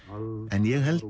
en ég held